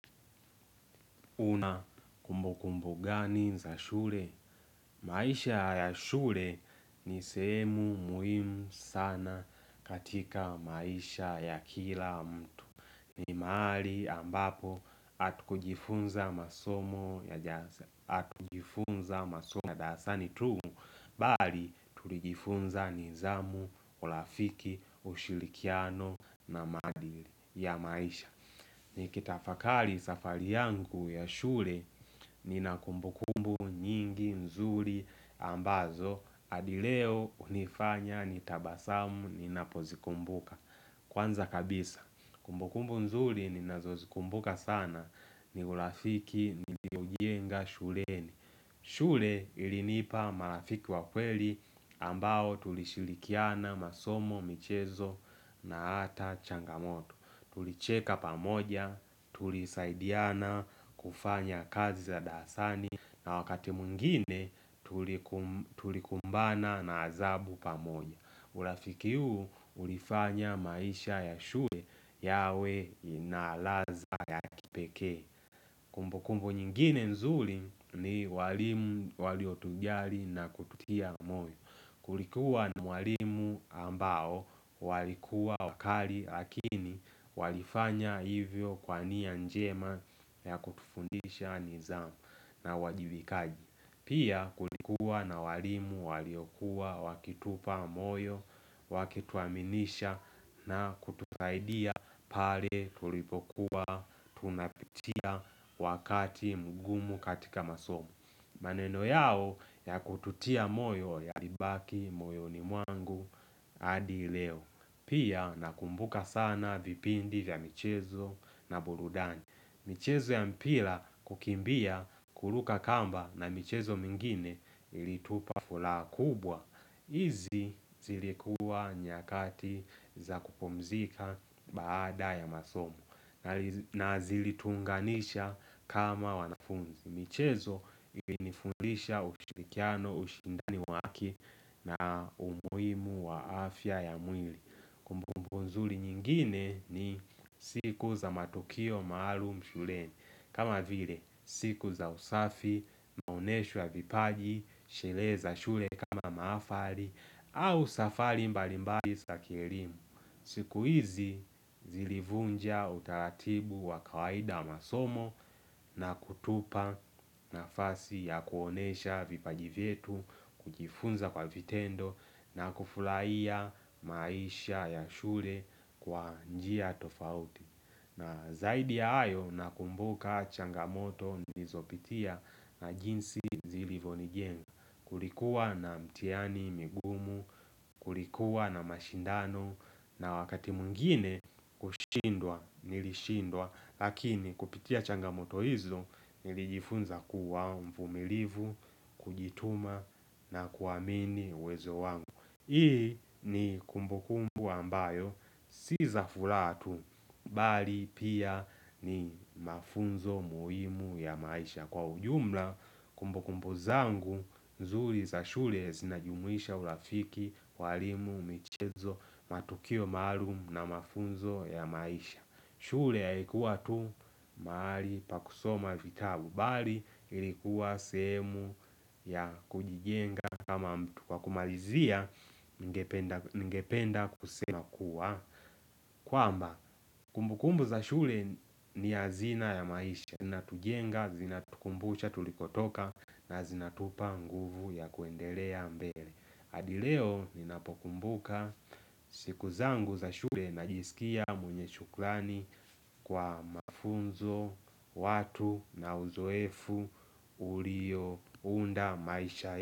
Una kumbu kumbu gani za shule? Maisha ya shule ni sehemu muhimu sana katika maisha ya kila mtu. Ni mahali ambapo hatu kujifunza masomo ya darasani tu. Bali tulijifunza nidhamu, urafiki, ushilikiano na maadili ya maisha. Nikita akali safari yangu ya shule nina kumbukumbu nyingi nzuri ambazo hadileo hunifanya nitabasamu nina pozikumbuka Kwanza kabisa kumbukumbu nzuri nina zozikumbuka sana ni urafiki nilioujienga shuleni shule ilinipa marafiki wakweli ambao tulishirikiana masomo michezo na ata changamoto Tulicheka pamoja, tulisaidiana kufanya kazi za dasani na wakati mwingine tulikumbana na adhabu pamoja Urafikiu huu ulifanya maisha ya shule yawe ina ladha ya kipekee Kumbu kumbu nyingine nzuri ni walimu waliotujali na kututia moyo Kulikuwa na mwalimu ambao walikuwa wakari lakini walifanya hivyo kwa niya njema ya kutufundisha nidhamu na uwajibikaji Pia kulikuwa na walimu waliokuwa wakitupa moyo wakituaminisha na kutufaidia pale tulipokuwa tunapitia wakati mgumu katika masomo maneno yao ya kututia moyo yalibaki, moyo ni mwangu, hadileo Pia nakumbuka sana vipindi vya michezo na burudani michezo ya mpira kukimbia kuruka kamba na michezo mingine ilitupa furaha kubwa Izi zilikuwa nyakati za kupumzika baada ya masomo na zilitunganisha kama wanafunzi Imichezo ili nifundisha ushirikiano, ushindani wake na umuhimu wa afya ya mwili. Kumbumbu nzuli nyingine ni siku za matokeo maalum shuleni. Kama vile siku za usafi, maonesho ya vipaji, sherehe za shule kama maafari au safari mbalimbari sa kielimu. Siku hizi zilivunja utaratibu wa kawaida masomo na kutupa na fasi ya kuonesha vipajivetu kujifunza kwa vitendo na kufuraia maisha ya shule kwa njia tofauti. Na zaidi ya hayo na kumbuka changamoto nizopitia na jinsi zilivonijenga Kulikuwa na mtihani migumu, kulikuwa na mashindano na wakati mwingine kushindwa nilishindwa Lakini kupitia changamoto hizo nilijifunza kuwa mvumilivu, kujituma na kuamini uwezo wangu Hii ni kumbukumbu ambayo, si za furaha tu, bali pia ni mafunzo muhimu ya maisha Kwa ujumla, kumbukumbu zangu, nzuri za shule zinajumwisha urafiki, walimu, michezo, matukio marum na mafunzo ya maisha shule ya haikuwa tu mahali pakusoma vitabu bali ilikuwa sehemu ya kujijenga kama mtu kwa kumalizia ningependa kusema kuwa kwamba kumbukumbu za shule ni ya hazina ya maisha zina tujenga, zina tukumbucha tulikotoka na zina tupa nguvu ya kuendelea mbele hAdileo ninapokumbuka siku zangu za shule na jisikia mwenye shukrani kwa mafunzo, watu na uzoefu, ulio, unda, maisha.